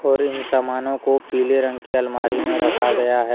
और इन समानों को पीले रंग की अलमारी में रखा गया है।